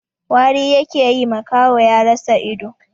Wari yake yi, makaho ya rasa ido.